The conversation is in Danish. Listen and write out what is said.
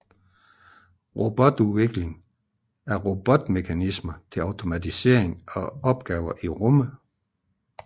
Robotudvikling Udvikling af robotmekanismer til automatisering af opgaver i rummet